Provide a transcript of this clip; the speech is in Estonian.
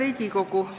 Hea Riigikogu!